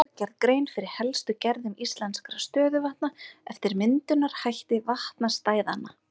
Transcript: Verður hér gerð grein fyrir helstu gerðum íslenskra stöðuvatna eftir myndunarhætti vatnastæðanna.